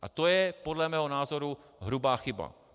A to je podle mého názoru hrubá chyba.